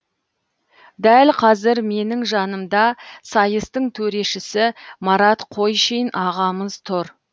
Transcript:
дәл қазір менің жанымда сайыстың төрешісі марат қойшин ағамыз тұр